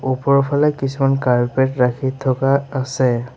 ওপৰফালে কিছুমান কাৰ্পেট ৰাখি থকা আছে।